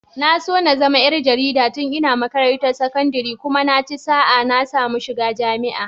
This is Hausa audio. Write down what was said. Na so na zama ƴar jarida tun ina makarantar sakandire kuma sai naci sa'a na samu shiga jami'a.